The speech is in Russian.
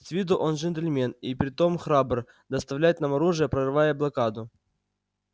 с виду он джентльмен и притом храбр доставлять нам оружие прорывая блокаду